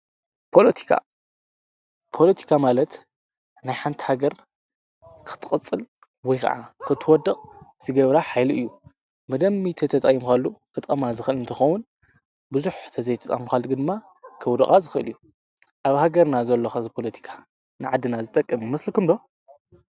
ፖለቲካ፡- ፖለቲካ ማለት ናይ ሓንቲ ሃገር ክትቅፅል ወይ ከዓ ክትወድቅ ዝገብራ ሓይሊ እዩ። ብደንቢ ተተቂምካሉ ክጠተቅማ ዝክእል እንትከውን ቡዙሕ እንተዘይተጠቂምካሉ ድማ ከውድቃ ዝክእል እዩ። ኣብ ሃገርና ዘሎ ሕዚ ፖለቲካ ንዓድና ዝጠቅም ይመስለኩም ዶ?